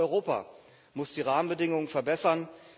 Aber auch Europa muss die Rahmenbedingungen verbessern.